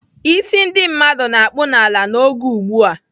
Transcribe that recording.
"Ísí ndị mmadụ na-akpụ n'ala n'oge ugbu a!"